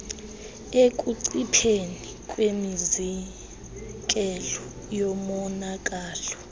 ekuncipheni kwemizekelo yomonakalo